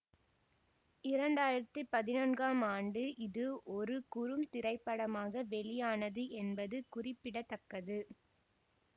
இரண்டு ஆயிரத்தி பதினொன்னாம் ஆண்டு இது ஒரு குறும் திரைப்படமாக வெளியானது என்பது குறிப்பிட தக்கது